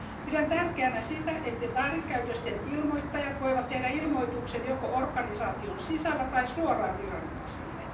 Pidän tärkeänä sitä, että väärinkäytösten ilmoittajat voivat tehdä ilmoituksen joko organisaation sisällä tai suoraan viranomaisille.